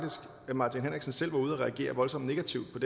herre martin henriksen selv var ude at reagere voldsomt negativt på